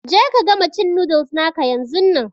Je ka gama cin noodles naka yanzun nan!